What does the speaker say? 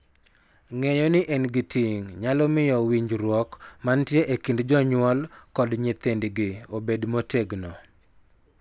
Ng�eyo ni en gi ting� nyalo miyo winjruok mantie e kind jonyuol kod nyithindgi obed motegno,